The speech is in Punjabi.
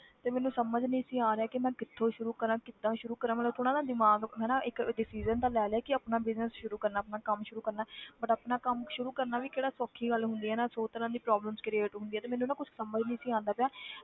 ਤੇ ਮੈਨੂੰ ਸਮਝ ਨਹੀਂ ਆ ਰਿਹਾ ਕਿ ਮੈਂ ਕਿੱਥੋਂ ਸ਼ੁਰੂ ਕਰਾਂ ਕਿੱਦਾਂ ਸ਼ੁਰੂ ਕਰਾਂ ਮਤਲਬ ਥੋੜ੍ਹਾ ਨਾ ਦਿਮਾਗ ਹਨਾ ਇੱਕ decision ਤਾਂ ਲੈ ਲਿਆ ਕਿ ਆਪਣਾ business ਸ਼ੁਰੂ ਕਰਨਾ, ਆਪਣਾ ਕੰਮ ਸ਼ੁਰੂ ਕਰਨਾ ਹੈ but ਆਪਣਾ ਕੰਮ ਸ਼ੁਰੂ ਕਰਨਾ ਵੀ ਕਿਹੜਾ ਸੌਖੀ ਗੱਲ ਹੁੰਦੀ ਹੈ ਨਾ ਸੌ ਤਰ੍ਹਾਂ ਦੀ problems create ਹੁੰਦੀ ਆ ਤੇ ਮੈਨੂੰ ਨਾ ਕੁਛ ਸਮਝ ਨੀ ਸੀ ਆਉਂਦਾ ਪਿਆ